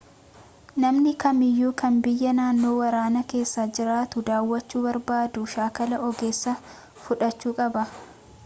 namni kamiyyuu kan biyya naannoo waraanaa keessa jirtu daawwachuu barbaadu shaakalaa ogeessaa fudhachuu qaba